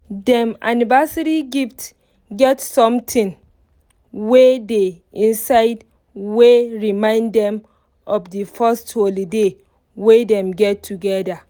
dem anniversary gift get something wey dey inside wey remind dem of di first holiday wey dem get together